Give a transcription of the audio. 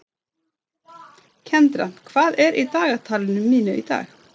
Kendra, hvað er á dagatalinu mínu í dag?